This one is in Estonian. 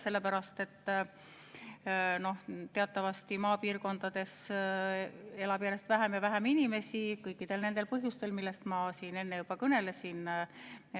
Teatavasti elab maapiirkondades järjest vähem ja vähem inimesi, kõikidel nendel põhjustel, millest ma siin juba enne kõnelesin.